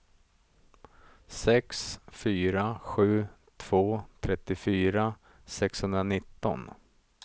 sex fyra sju två trettiofyra sexhundranitton